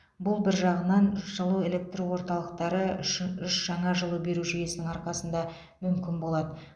бұл бір жағынан жылу электр орталықтары үші үш жаңа жылу беру жүйесінің арқасында мүмкін болады